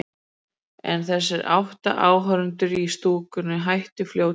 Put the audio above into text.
En þessir átta áhorfendur í stúkunni hættu fljótlega.